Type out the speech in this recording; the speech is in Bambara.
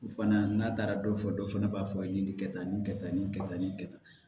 O fana n'a taara dɔ fɔ dɔ fana b'a fɔ ye nin kɛ tan nin kɛ tan nin kɛ tan nin kɛ tan